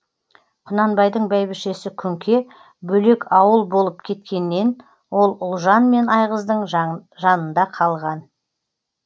құнанбайдың бәйбішесі күнке бөлек ауыл болып кеткеннен ол ұлжан мен айғыздың жаңында қалған